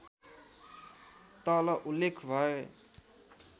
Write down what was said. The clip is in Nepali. तल उल्लेख भए